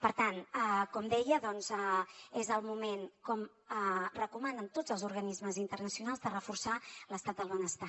per tant com deia doncs és el moment com recomanen tots els organismes internacionals de reforçar l’estat del benestar